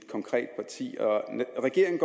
regeringen